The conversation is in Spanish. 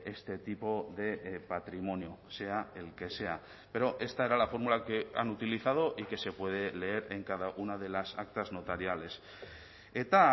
este tipo de patrimonio sea el que sea pero esta era la fórmula que han utilizado y que se puede leer en cada una de las actas notariales eta